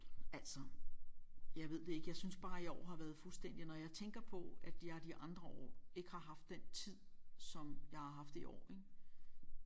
Altså jeg ved det ikke jeg synes bare i år har været fuldstændig når jeg tænker på at jeg de andre år ikke har haft den tid som jeg har haft i år ik